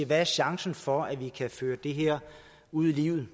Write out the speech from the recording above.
hvad chancen for at vi kan føre det her ud i livet